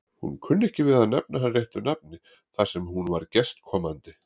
Hún kunni ekki við að nefna hann réttu nafni þar sem hún var gestkomandi.